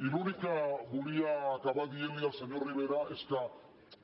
i l’únic que volia acabar dient al senyor rivera és que